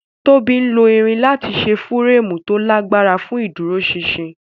Tóbi Lo irin lati ṣe fireemu ti o lagbara fun iduroṣinṣin.